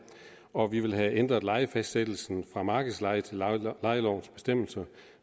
og vi vil have ændret lejefastsættelsen fra markedsleje til leje efter lejelovens bestemmelser